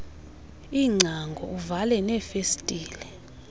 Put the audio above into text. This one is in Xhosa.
iingcango uvale neefestile